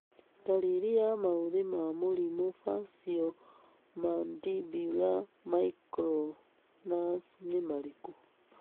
Ndariri na maũthĩ ma mũrimũ Faciomandibular myoclonus nĩ marikũ?